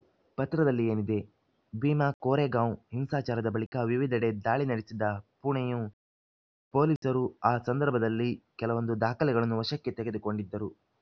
ಪತ್ರದಲ್ಲಿ ಏನಿದೆ ಭೀಮಾ ಕೋರೆಗಾಂವ್‌ ಹಿಂಸಾಚಾರದ ಬಳಿಕ ವಿವಿಧೆಡೆ ದಾಳಿ ನಡೆಸಿದ್ದ ಪುಣೆಯು ಪೊಲೀಸರು ಆ ಸಂದರ್ಭದಲ್ಲಿ ಕೆಲವೊಂದು ದಾಖಲೆಗಳನ್ನು ವಶಕ್ಕೆ ತೆಗೆದುಕೊಂಡಿದ್ದರು